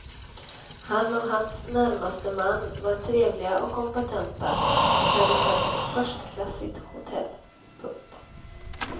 Han och hans närmaste man var trevliga och kompetenta och hade skött ett förstklassigt hotell. punkt